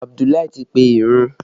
Abudulai ti pe ìrun